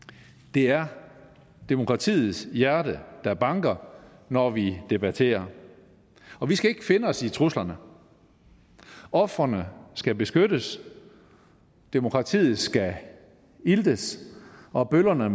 det er demokratiets hjerte der banker når vi debatterer vi skal ikke finde os i truslerne ofrene skal beskyttes demokratiet skal iltes og bøllerne